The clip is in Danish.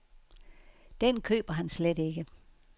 Den køber han slet ikke.